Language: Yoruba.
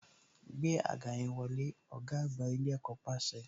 Gbé àga yẹn wọlé, ọ̀gá àgbà ilé ẹ̀kọ́ pàṣẹ